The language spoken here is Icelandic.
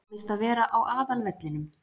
Á víst að vera á aðalvellinum.